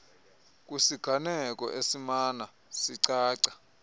kwisiganeko esimana sicaca